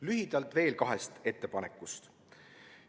Lühidalt veel kahest ettepanekust.